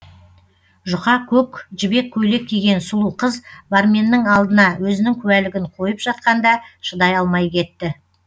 жұқа көк жібек көйлек киген сұлу қыз барменнің алдына өзінің куәлігін қойып жатқанда шыдай алмай кетті